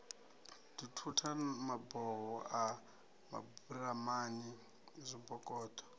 dzithutha maboho a maburamani zwibokoṱo